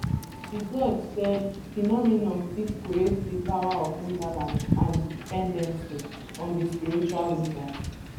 di god said phenomenon fit create di power of imbalance and dependency on di spiritual leaders